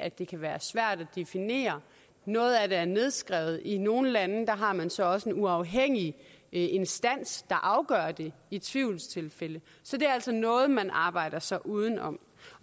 at det kan være svært at definere noget af det er nedskrevet i nogle lande har man så også en uafhængig instans der afgør det i tvivlstilfælde så det er altså noget man arbejder sig uden om